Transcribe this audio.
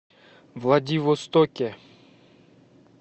владивостоке